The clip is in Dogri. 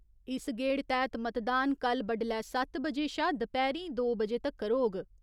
इस गेड़ तैह्त मतदान कल्ल बड्डलै सत्त बजे शा दपैह्‌रीं दो बजे तगर होग।